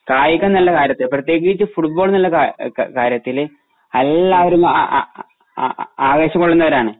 കായികം എന്നുള്ള കാര്യത്തില് പ്രത്യേകിച്ച് ഫുഡ് ബോള് എന്നുള്ള ക കാ കാര്യത്തില് അല്ലാരും ആ ആ ആ ആവേശം കൊള്ളുന്നവരാണ്